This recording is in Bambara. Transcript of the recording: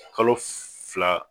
Kalo fila